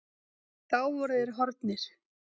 Þá voru þeir horfnir.